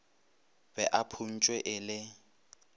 be a phuntšwe e le